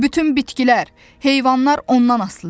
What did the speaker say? Bütün bitkilər, heyvanlar ondan asılıdır.